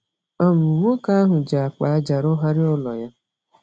um Nwoke ahụ ji akpa ájá rụgharịa ụlọ ya.